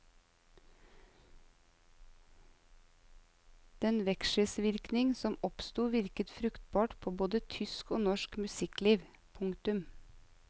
Den vekselvirkning som oppstod virket fruktbart på både tysk og norsk musikkliv. punktum